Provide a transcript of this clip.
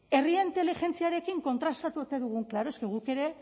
herri inteligentziarekin kontrastatu ote dugun claro es que guk ere